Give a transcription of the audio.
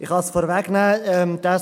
Ich kann es vorwegnehmen: